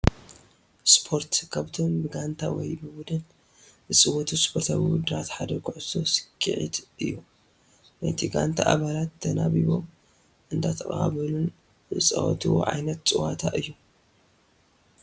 ስፖርት፡- ካብቶም ብጋንታ ወይ ብቡድን ዝፅወቱ ስፖርታዊ ውድድራት ሓደ ኩዕሶ ስኬዔት እዩ፡፡ ናይቲ ጋንታ ኣባላት ተናቢቦም እንዳተቐባበሉን ዝፃወትዎ ዓይነት ፀወታ እዩ፡፡